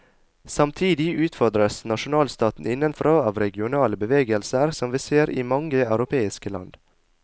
Samtidig utfordres nasjonalstaten innenfra av regionale bevegelser, som vi ser i mange europeiske land.